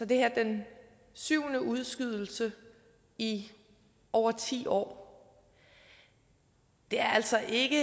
det her den syvende udskydelse i over ti år det er altså ikke